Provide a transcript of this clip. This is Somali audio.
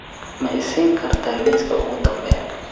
ma isiin kartaa liiska ugu dambeeya